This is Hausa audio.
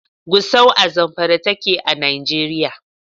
Gusau a Zamfara take a Nijeriya.